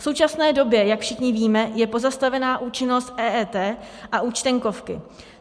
V současné době, jak všichni víme, je pozastavena účinnost EET a Účtenkovky.